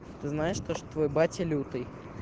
ты знаешь то что твой батя лютый